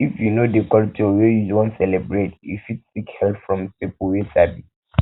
if you no know di culture wey you wan celebrate you fit seek help from person wey sabi